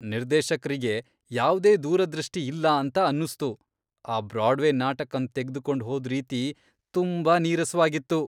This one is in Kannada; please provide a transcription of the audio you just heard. ನಿರ್ದೇಶಕ್ರಿಗೆ ಯಾವ್ದೇ ದೂರದೃಷ್ಟಿ ಇಲ್ಲ ಅಂತ ಅನ್ನುಸ್ತು. ಆ ಬ್ರಾಡ್ವೇ ನಾಟಕನ್ ತೆಗ್ದುಕೊಂಡ್ ಹೋದ್ ರೀತಿ ತುಂಬಾ ನೀರಸವಾಗಿತ್ತು.